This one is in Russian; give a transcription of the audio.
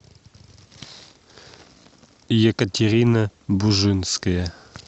екатерина бужинская